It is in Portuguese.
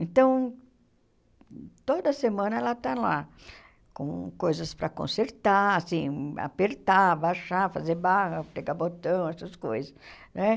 Então, toda semana ela está lá com coisas para consertar, assim, apertar, baixar, fazer barra, pregar botão, essas coisas, né?